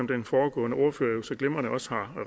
den foregående ordfører så glimrende også har